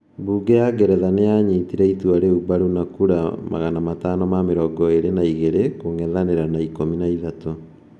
Bunge ya Ngeretha nĩ yaanyitire itua rĩu mbaru na kura 522 kũng'ethanĩra na 13.